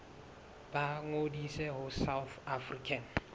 ba ngodise ho south african